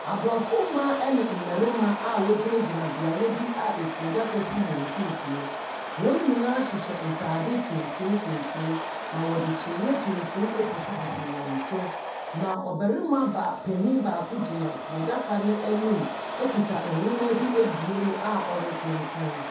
Abrɔfo mmaa ne mmarimma a ɔgyinagyina beaeɛ bi a efunudaka si wɔn mfimfin. Wɔn nyinaa hyehyɛ ntaade tuntum, tuntum, na ɔde kyiniiɛ tuntum ɛsisisi wɔn so. Na ɔbarima ba panyin baako gyina funudaka no anim ekuta nwoma bi ɛbue mu a ɔrekenkan.